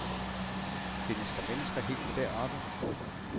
Findes der mennesker helt deroppe.